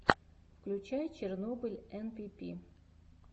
включай чернобыль энпипи